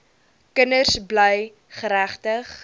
kinders bly geregtig